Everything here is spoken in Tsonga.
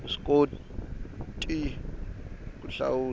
wu swi koti ku hlawula